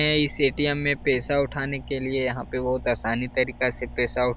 मै इस ऐ.टी.एम. पेसा उठाने के लिए यह बहुत आसानी तरीका से पैसा --